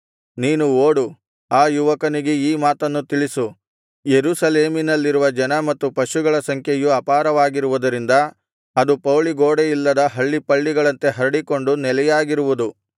ನೀನು ಓಡು ಆ ಯುವಕನಿಗೆ ಈ ಮಾತನ್ನು ತಿಳಿಸು ಯೆರೂಸಲೇಮಿನಲ್ಲಿರುವ ಜನ ಮತ್ತು ಪಶುಗಳ ಸಂಖ್ಯೆಯು ಅಪಾರವಾಗಿರುವುದರಿಂದ ಅದು ಪೌಳಿಗೋಡೆಯಿಲ್ಲದ ಹಳ್ಳಿಪಳ್ಳಿಗಳಂತೆ ಹರಡಿಕೊಂಡು ನೆಲೆಯಾಗಿರುವುದು